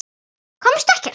Komust ekkert.